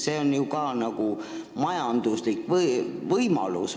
See on ju mõneti majanduslik võimalus.